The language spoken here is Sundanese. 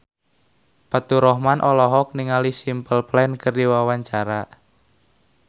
Faturrahman olohok ningali Simple Plan keur diwawancara